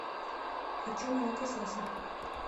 хочу молокососы